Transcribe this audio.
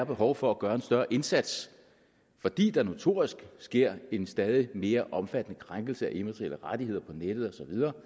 behov for at gøre en større indsats fordi der notorisk sker en stadig mere omfattende krænkelse af immaterielle rettigheder på nettet